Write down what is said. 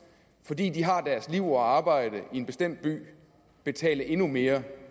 fordi de har deres liv og arbejde i en bestemt by betale endnu mere